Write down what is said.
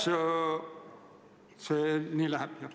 Kas see läheb nii?